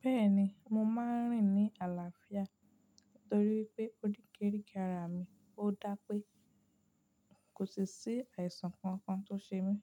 Bẹ́ẹ̀ni, mo máa ń rìn ní àlàáfíà torí pé ó orikeríke ara mi ó dà pé kò si sí àìsàn kankan tó ṣe mí.